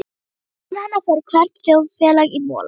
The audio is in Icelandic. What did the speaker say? Án hennar fer hvert þjóðfélag í mola.